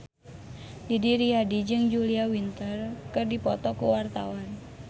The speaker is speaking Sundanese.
Didi Riyadi jeung Julia Winter keur dipoto ku wartawan